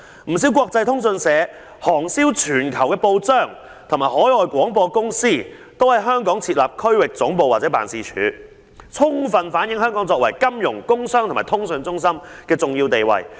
不少國際通訊社、行銷全球的報章和海外廣播公司都在香港設立區域總部或辦事處......充分反映香港作為金融、工商和通訊中心的重要地位"。